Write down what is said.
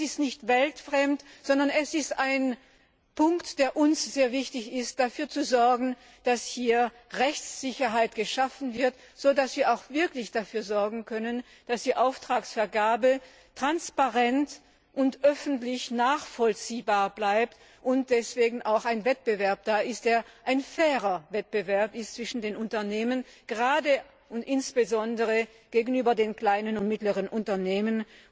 Das ist nicht weltfremd, sondern es ist ein Punkt, der uns sehr wichtig ist Dafür zu sorgen, dass hier Rechtssicherheit geschaffen wird, so dass wir auch wirklich dafür sorgen können, dass die Auftragsvergabe transparent und öffentlich nachvollziehbar bleibt und deswegen auch ein Wettbewerb da ist, der ein fairer Wettbewerb zwischen den Unternehmen ist, gerade und insbesondere gegenüber den kleinen und mittleren Unternehmen.